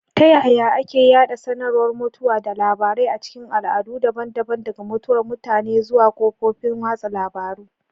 Ta yaya ake yada sanarwar mutuwa da labarai a cikin al'adu daban-daban—daga mutuwar mutane zuwa kafofin watsa labarun—?